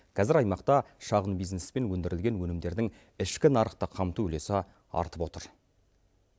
қазір аймақта шағын бизнеспен өндірілген өнімдердің ішкі нарықты қамту үлесі артып отыр